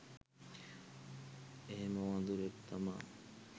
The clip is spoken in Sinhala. එහෙම වදුරෙක් තමා.